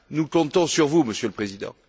Nous comptons sur vous, Monsieur le Président.